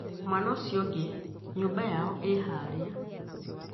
Mwana ũcio ũngĩ nyũmba yao ĩhaarĩa